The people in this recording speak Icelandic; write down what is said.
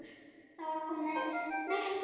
Það er komið myrkur.